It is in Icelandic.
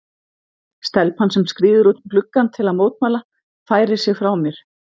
Stelpan sem skríður út um gluggann til að mótmæla færir sig frá mér.